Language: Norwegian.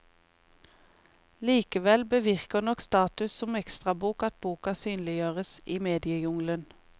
Likevel bevirker nok status som ekstrabok at boka synliggjøres i mediejungelen.